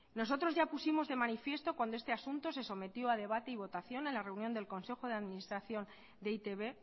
nosotros ya pusimos de manifiesto cuando este asunto se sometió a debate y votación en la reunión del consejo de administración de e i te be